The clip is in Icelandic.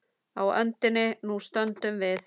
Á öndinni nú stöndum við.